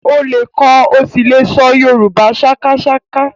Ó lè kọ ó sì lè ṣọ Yorùbá sákásáká